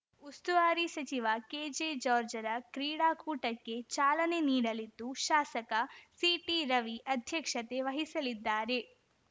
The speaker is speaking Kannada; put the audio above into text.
ಉಸ್ತುವಾರಿ ಸಚಿವ ಕೆಜೆಜಾರ್ಜ್ ರ ಕ್ರೀಡಾಕೂಟಕ್ಕೆ ಚಾಲನೆ ನೀಡಲಿದ್ದು ಶಾಸಕ ಸಿಟಿರವಿ ಅಧ್ಯಕ್ಷತೆ ವಹಿಸಲಿದ್ದಾರೆ